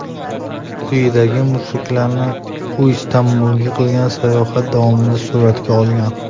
Quyidagi mushuklarni u Istanbulda qilgan sayohati davomida suratga olgan.